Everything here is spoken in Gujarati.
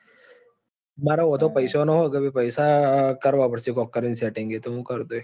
મારે વાંધો પૈસા નો છે એટલે પૈસા કરવા પડે કઈક કરી ને setting એતો મુ કરી દઈસ.